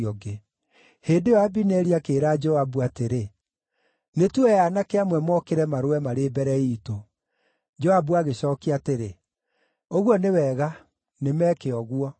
Hĩndĩ ĩyo Abineri akĩĩra Joabu atĩrĩ, “Nĩ tuoe aanake amwe mokĩre marũe marĩ mbere iitũ.” Joabu agĩcookia atĩrĩ, “Ũguo nĩ wega, nĩ meeke ũguo.”